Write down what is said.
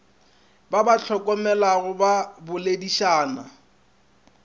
ba ba hlokomelago ba boledišane